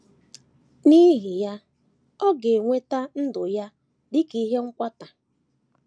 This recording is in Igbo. N’ihi ya, ọ ga - enweta ‘‘ ndụ ya dị ka ihe nkwata. ’